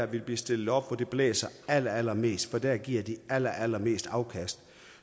vil blive stillet op hvor det blæser allerallermest for der giver de allerallermest afkast